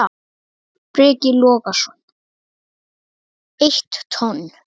Breki Logason: Eitt tonn?